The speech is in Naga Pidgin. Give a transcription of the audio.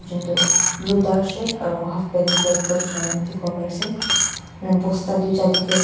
eto blue dark shirt aro halfpant red colour cholaina teki pai ase aro bosta tuita teki ase.